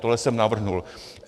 Tohle jsem navrhl.